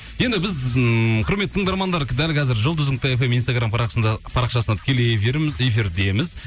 енді біз ммм құрметті тыңдармандар дәл қазір жұлдыз нүкте фм инстаграм парақшасында тікелей эфирдеміз